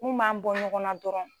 Mun b'an bɔ ɲɔgɔnna dɔrɔn